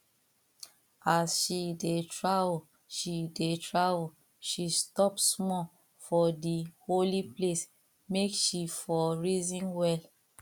as she dey travel she dey travel she stop small for the holy place make she for reason well